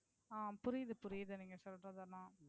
ஆஹ் புரியுது புரியுது நீங்க சொல்றது எல்லாம்.